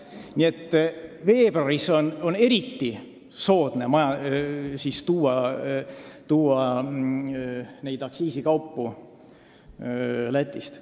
Nii et veebruaris on eriti soodne aktsiisikaupu Lätist osta.